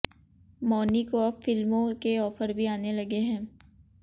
मौनी को अब फिल्मों के ऑफर भी आने लगे है